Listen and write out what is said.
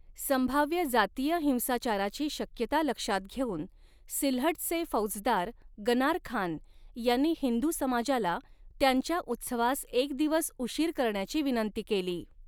संभाव्य जातीय हिंसाचाराची शक्यता लक्षात घेऊन सिल्हटचे फौजदार गनार खान यांनी हिंदू समाजाला त्यांच्या उत्सवास एक दिवस उशीर करण्याची विनंती केली.